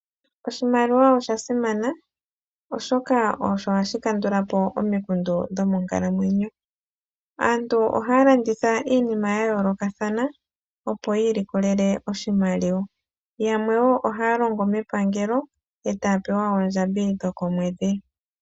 Oshimaliwa osha simana oshoka osho ha shi kandula po omikundu dho monkalamwenyo. Aantu ohaya landitha iinima ya yoolokathana opo yiilikolele oshimaliwa. Yamwe wo ohaya longo mepangelo eta ya pewa oondjambi dho komwedhi.